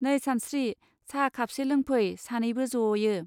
नै सानस्त्रि साहा खापसे लोंफै सानैबो जयो.